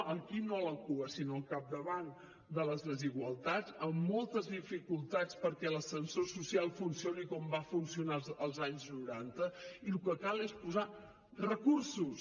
aquí no a la cua sinó al capdavant de les desigualtats amb moltes dificultats perquè l’ascensor social funcioni com va funcionar als anys noranta i el que cal és posar recursos